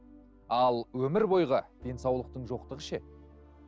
ал өмір бойғы денсаулықтың жоқтығы ше